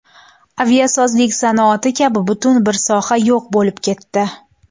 Aviasozlik sanoati kabi butun bir soha yo‘q bo‘lib ketdi.